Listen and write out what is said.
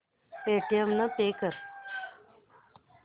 Paytm ने pay कर